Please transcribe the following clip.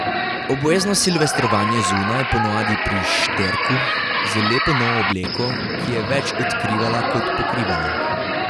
Obvezno silvestrovanje zunaj, ponavadi pri Šterku, z lepo novo obleko, ki je več odkrivala kot pokrivala.